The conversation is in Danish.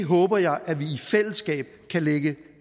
håber jeg at vi i fællesskab kan lægge